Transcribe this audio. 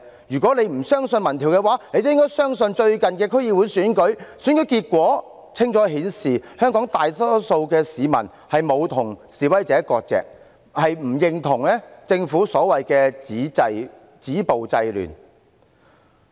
如果她不相信民調，也應該相信最近的區議會選舉。選舉結果清楚顯示，香港大多數市民沒有與示威者割席，亦不認同政府所謂的"止暴制亂"。